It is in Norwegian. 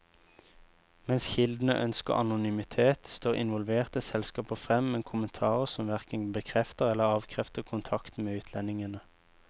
Mens kildene ønsker anonymitet, står involverte selskaper frem med kommentarer som hverken bekrefter eller avkrefter kontakten med utlendingene.